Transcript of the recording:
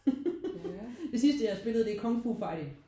Det sidste jeg har spillet det er Kung Fu Fighting